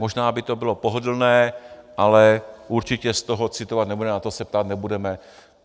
Možná by to bylo pohodlné, ale určitě z toho citovat nebudeme, na to se ptát nebudeme.